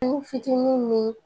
Ni fitinin ni